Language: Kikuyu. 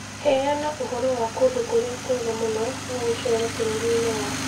Heana ũhoro wa kũndũ kũrĩa kwega mũno kwa gũceera bũrũri-inĩ wa Kenya